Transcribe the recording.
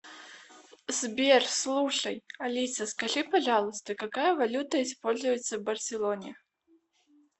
сбер слушай алиса скажи пожалуйста какая валюта используется в барселоне